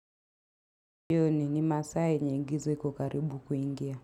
Jioni ni masaa yenye giza iko karibu kuingia.